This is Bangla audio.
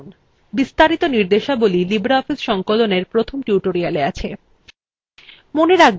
বিস্তারিত নির্দেশাবলী libreoffice সংকলনএর প্রথম tutorialএ আছে